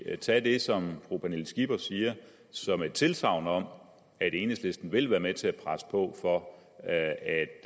tage det som fru pernille skipper siger som et tilsagn om at enhedslisten vil være med til at presse på for at